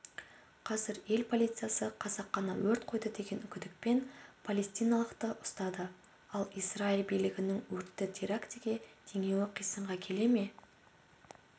қазір ел полициясы қасақана өрт қойды деген күдікпен палестиналықты ұстады ал израиль билігінің өртті терактіге теңеуі қисынға келе ме